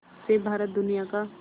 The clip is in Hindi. से भारत दुनिया का